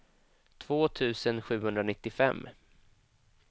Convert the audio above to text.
två tusen sjuhundranittiofem